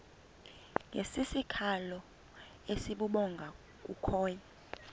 ngesikhalo esibubhonga bukhonya